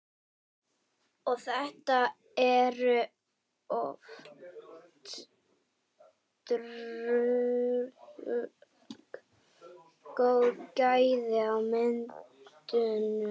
Og þetta eru ótrúlega góð gæði á myndunum?